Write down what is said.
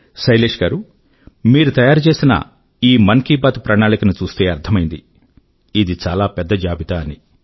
శైలేశ్ గారూ మీరు తయారు చేసిన ఈ మన్ కీ బాత్ ప్రణాళిక ను చూస్తే అర్థమైంది ఇది చాలా పెద్ద జాబితా అని